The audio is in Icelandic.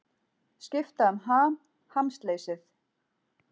Skipta um ham, hamsleysið.